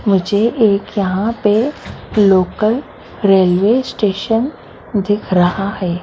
मुझे एक यहाँ पर लोकल रेलवे स्टेशन दिख रहा है।